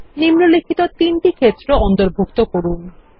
নিম্নলিখিত তিনটি ক্ষেত্র অন্তর্ভুক্ত করুন